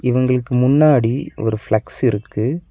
இவங்ளுக்கு முன்னாடி ஒரு ஃபிளக்ஸ் இருக்கு.